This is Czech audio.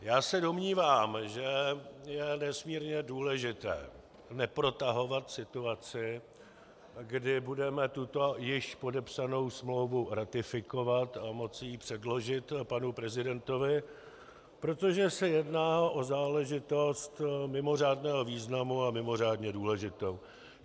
Já se domnívám, že je nesmírně důležité neprotahovat situaci, kdy budeme tuto již podepsanou smlouvu ratifikovat a moci ji předložit panu prezidentovi, protože se jedná o záležitost mimořádného významu a mimořádně důležitou.